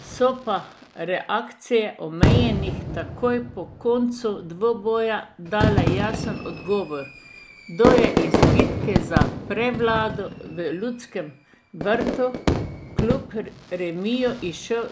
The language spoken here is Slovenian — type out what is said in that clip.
So pa reakcije omenjenih takoj po koncu dvoboja dale jasen odgovor, kdo je iz bitke za prevlado v Ljudskem vrtu kljub remiju izšel